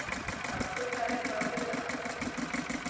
Að kunna eitthvað utan að